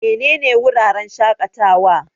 Menene wuraren shaƙatawa?